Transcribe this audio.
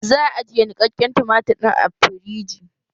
Za a ajiye niƙaƙƙen tumatir ɗin a firiji